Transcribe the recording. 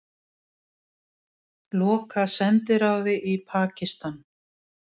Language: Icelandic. Loka sendiráði í Pakistan